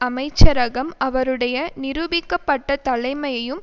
அமைச்சரகம் அவருடைய நிரூபிக்க பட்ட தலைமையையும்